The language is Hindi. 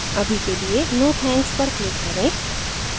अभी के लिए no thanks पर click करें